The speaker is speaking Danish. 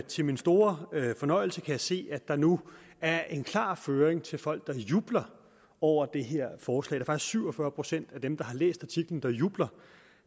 til min store fornøjelse kan jeg se at der nu er en klar føring til folk der jubler over det her forslag der er faktisk syv og fyrre procent af dem der har læst artiklen der jubler